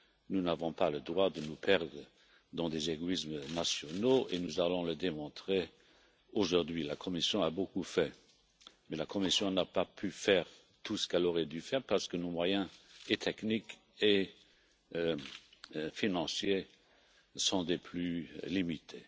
Nous n'avons pas le droit de nous perdre dans des égoïsmes nationaux et nous allons le démontrer aujourd'hui. La Commission a beaucoup fait, mais elle n'a pas pu faire tout ce qu'elle aurait dû faire, parce que nos moyens techniques et financiers sont des plus limités.